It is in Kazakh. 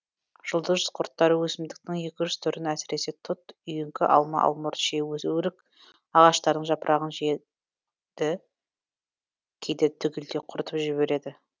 жұлдыз құрттары өсімдіктің екі жеті жүз түрін әсіресе тұт үйеңкі алма алмұрт шие өрік ағаштарының жапырағын жей ді кейде түгелдей құртып жібереді